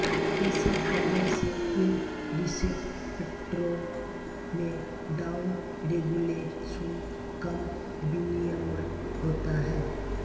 ऐसे करने से इन रिसेप्टरों में डाउन रेगुलेशुन कम विनियमन होता है